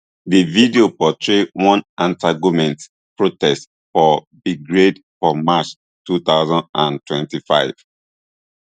di video portray one antigoment protest for belgrade for march two thousand and twenty-five